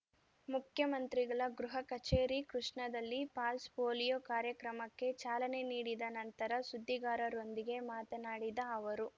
ಮುಖ್ಯಮಂತ್ರಿಗಳ ಗೃಹ ಕಚೇರಿ ಕೃಷ್ಣದಲ್ಲಿ ಪಲ್ಸ್ ಪೊಲೀಯೊ ಕಾರ್ಯಕ್ರಮಕ್ಕೆ ಚಾಲನೆ ನೀಡಿದ ನಂತರ ಸುದ್ದಿಗಾರರೊಂದಿಗೆ ಮಾತನಾಡಿದ ಅವರು